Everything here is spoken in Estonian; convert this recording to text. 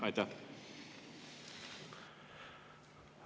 Aitäh!